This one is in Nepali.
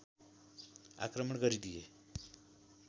आक्रमण गरिदिए